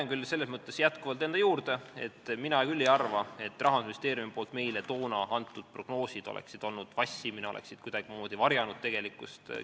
Ma jään selles mõttes jätkuvalt enda juurde, et mina küll ei arva, et Rahandusministeeriumi toona antud prognoosid oleksid olnud vassimine ja oleksid kuidagimoodi tegelikkust varjanud.